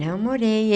Não morei.